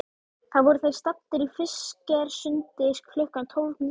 Þá voru þeir staddir í Fischersundi klukkan tólf tíu.